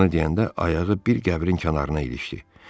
Bunu deyəndə ayağı bir qəbrin kənarına ilişdi.